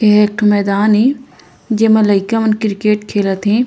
यहँ एकठो मैदान हे जिमे लइकामन क्रिकेट खेलत हे।